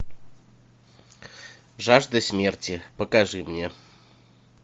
жажда смерти покажи мне